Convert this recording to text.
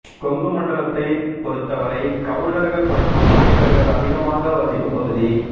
கொங்குமண்டலத்தை பொறுத்தவரை கவுண்டர்கள் மற்றும் நாயக்கர்கள் அதிகமாக வசிக்கும் பகுதி